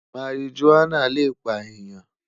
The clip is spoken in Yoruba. Marijuana le pa eyan